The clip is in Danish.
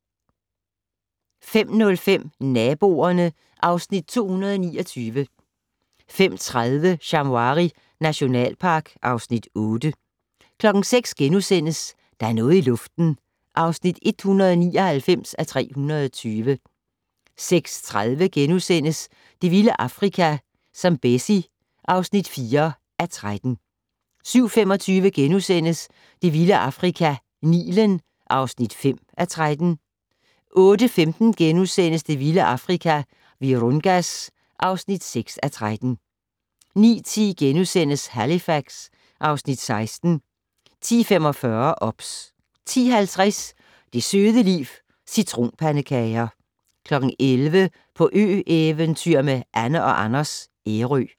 05:05: Naboerne (Afs. 229) 05:30: Shamwari nationalpark (Afs. 8) 06:00: Der er noget i luften (199:320)* 06:30: Det vilde Afrika - Zambezi (4:13)* 07:25: Det vilde Afrika - Nilen (5:13)* 08:15: Det vilde Afrika - Virungas (6:13)* 09:10: Halifax (Afs. 16)* 10:45: OBS 10:50: Det søde liv - Citronpandekager 11:00: På ø-eventyr med Anne & Anders - Ærø